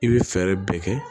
I bɛ fɛɛrɛ bɛɛ kɛ